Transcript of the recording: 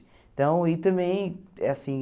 Então, e também, assim...